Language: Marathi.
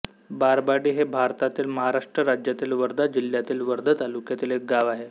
बारबाडी हे भारतातील महाराष्ट्र राज्यातील वर्धा जिल्ह्यातील वर्धा तालुक्यातील एक गाव आहे